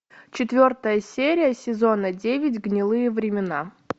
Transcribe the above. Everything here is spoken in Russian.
четвертая серия сезона девять гнилые времена